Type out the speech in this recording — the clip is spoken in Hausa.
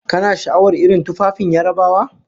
Kana sha'awar irin tufafin Yarabawa?